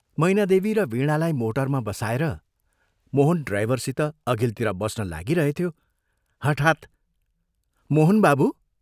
मैनादेवी र वीणालाई मोटरमा बसाएर मोहन ड्राइभरसित अघिल्तिर बस्न लागिरहेथ्यो, हठात् " मोहन बाबू!